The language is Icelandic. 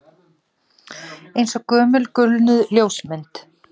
Eins og gömul gulnuð ljósmynd